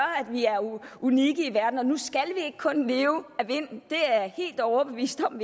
vi er unikke i verden nu skal vi ikke kun leve af vind det er jeg helt overbevist om